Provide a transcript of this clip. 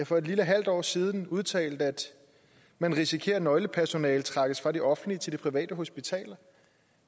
for et lille halvt år siden udtalte at man risikerer at nøglepersonale trækkes fra de offentlige til de private hospitaler